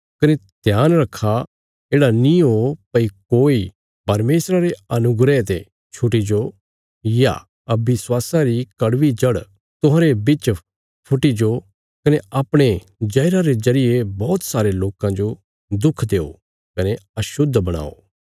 कने ध्यान रखा येढ़ा नीं ओ भई कोई परमेशरा रे अनुग्रह ते छुटी जाओ या अविश्वासा री कड़वी जड़ तुहांरे बिच फुटी जो कने अपणे जहरा रे जरिये बौहत सारे लोकां जो दुख देओ कने अशुद्ध बणाये